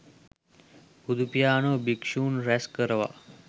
බුදුපියාණෝ භික්ෂූන් රැස් කරවා